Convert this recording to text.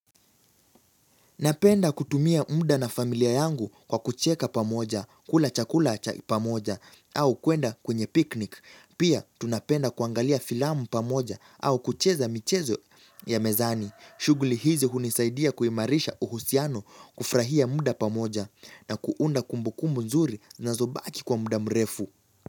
Napenda kutumia muda na familia yangu kwa kucheka pamoja, kula chakula cha pamoja, au kuenda kwenye piknik. Pia tunapenda kuangalia filamu pamoja au kucheza michezo ya mezani. Shughuli hizo hunisaidia kuimarisha uhusiano kufurahia muda pamoja na kuunda kumbu kumbu nzuri zinazobaki kwa muda mrefu.